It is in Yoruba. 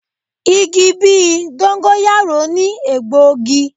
Igi bí i dóngọ́yáró ni egbòogi.